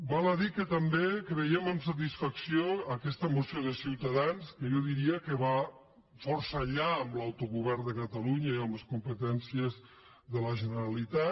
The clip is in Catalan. val a dir que també veiem amb satisfacció aquesta moció de ciutadans que jo diria que va força més enllà de l’autogovern de catalunya i de les competències de la generalitat